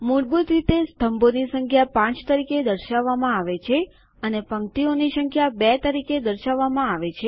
મૂળભૂત રીતે સ્તંભોની સંખ્યા ૫ તરીકે દર્શાવવામાં આવે છે અને પંક્તિઓની સંખ્યા ૨ તરીકે દર્શાવવામાં આવે છે